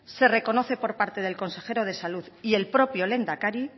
se reconoce por parte del consejero de salud y el propio lehendakari